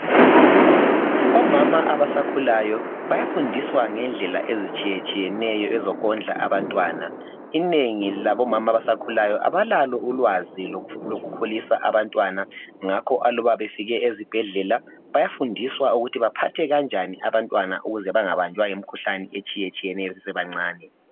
Omama abasakhulayo bayafundiswa ngendlela ezitshiyetshiyeneyo ezokondla abantwana inengi labomama abasakhulayo abalalo ulwazi lokukhulisa abantwana ngakho aluba befike ezibhedlela bayafundiswa ukuthi baphathe kanjani abantwana ukuze bengabanjwa yimikhuhlane etshiyetshiyeneyo besebancane